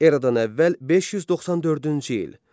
Eradan əvvəl 594-cü il.